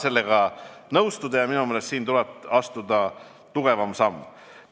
Sellega ei saa nõustuda ja minu meelest tuleb siin astuda tugevam samm.